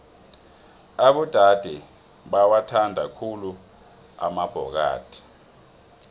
abodade bawathanda khulu amabhokadi